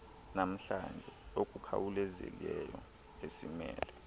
namhlanje okukhawulezileyo esimele